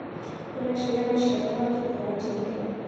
ũreciria maciaro mangĩkũra atĩa ihenya.